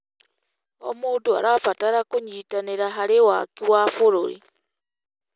O mũndũ arabatra kũnyitanĩra harĩ waki wa bũrũri.